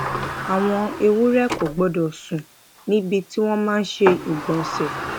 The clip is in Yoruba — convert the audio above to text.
àwọn ewúrẹ kò gbọdọ sùn níbi tí wọn ti máa ṣe ìgbònsẹ